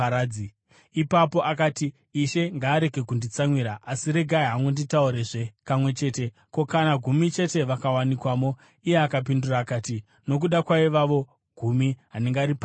Ipapo akati, “Ishe ngaarege kunditsamwira, asi regai hangu nditaurezve kamwe chete. Ko, kana gumi chete vakawanikwamo?” Iye akapindura akati, “Nokuda kwaivavo gumi, handingariparadzi.”